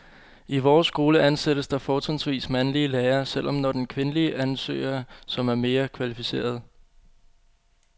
I vores skole ansættes der fortrinsvis mandlige lærere, selv når der er kvindelige ansøgere, som er mere kvalificerede.